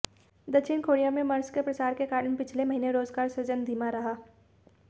दक्षिण कोरिया में मर्स के प्रसार के कारण पिछले महीने रोजगार सृजन धीमा रहा